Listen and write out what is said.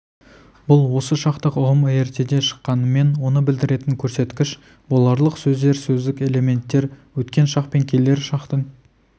бұл осы шақтық ұғым ертеде шыққанымен оны білдіретін көрсеткіш боларлық сөздер сөздік элементтер өткен шақ пен келер шақтың